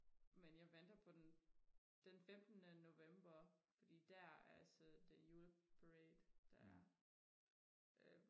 men jeg venter på den den femtene november fordi der altså det jueparade der er øh